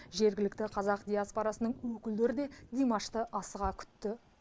жергілікті қазақ диаспорасының өкілдері де димашты асыға күтті